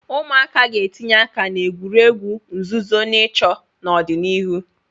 Ụmụaka ga-etinye aka na egwuregwu nzuzo na ịchọ n'ọdịnihu.